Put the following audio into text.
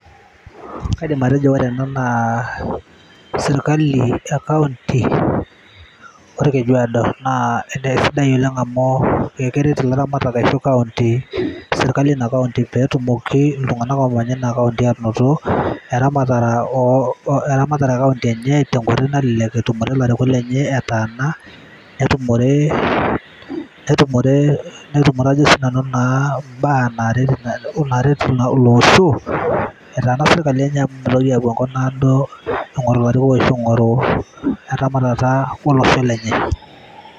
kaidim atejo ore ena naa sirkali e kaunti orkeju aado naa kisidai oleng amu, keret ilaramatak aashu sirkali eina kaunti, pee etumoki iltunganak oomanya ina kaunti aanoto, eramata e kaunti enye tenkoitoi nalelek, etumore ilarikok lenye etaana. netumore ajo sii nanu ibaa naaret olosho etaana sirkali enye amu mitoki apuo enkop naado aing'oru eretoto olosho lenye.